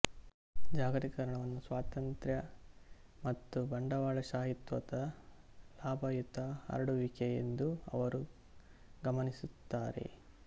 ಜಾಗತೀಕರಣವನ್ನು ಸ್ವಾತಂತ್ರ್ಯ ಮತ್ತು ಬಂಡವಾಳಶಾಹಿತ್ವದ ಲಾಭಯುತ ಹರಡುವಿಕೆ ಎಂದು ಅವರು ಗಮನಿಸುತ್ತಾರೆ